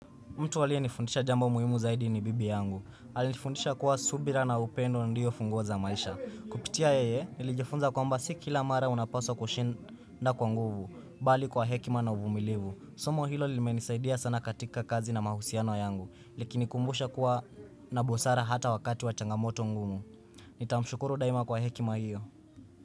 Mtu aliye nifundisha jambo muhimu zaidi ni bibi yangu. Aliniifundisha kuwa subira na upendo ndiyo funguo za maisha. Kupitia yeye, nilijifunza kwamba si kila mara unapaswa kushinda kwa nguvu, bali kwa hekima na uvumilivu. Somo hilo limenisaidia sana katika kazi na mahusiano yangu. Likinikumbusha kuwa na busara hata wakati wa changamoto ngumu. Nitamshukuru daima kwa hekima hiyo.